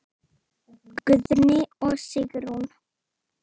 Guðni og Sigrún.